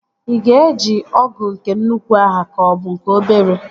Ị ga-eji ọgụ nke nnukwu ahụ ka ọ bụ nke obere?